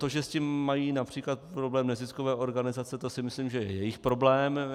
To, že s tím mají například problém neziskové organizace, to si myslím, že je jejich problém.